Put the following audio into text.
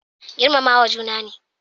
Girmamawa juna ne